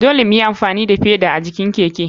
Dole muyi amfani da feda a jikin keke.